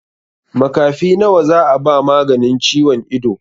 Makafi nawa za a ba maganin ciwon ido?